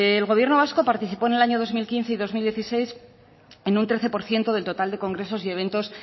el gobierno vasco participó en el año dos mil quince y dos mil dieciséis en un trece por ciento del total de congresos y eventos